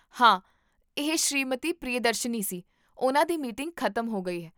ਹਾਂ, ਇਹ ਸ੍ਰੀਮਤੀ ਪ੍ਰਿਯਦਰਸ਼ਨੀ ਸੀ, ਉਨ੍ਹਾਂ ਦੀ ਮੀਟਿੰਗ ਖ਼ਤਮ ਹੋ ਗਈ ਹੈ